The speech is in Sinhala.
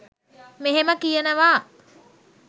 මෙහෙම කියනවා..